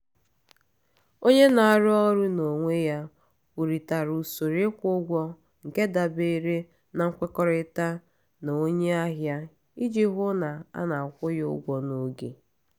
onye na-arụ ọrụ n’onwe ya kwurịtara usoro ịkwụ ụgwọ nke dabere na nkwekọrịta na onye ahịa iji hụ na a na-akwụ ya ụgwọ n’oge.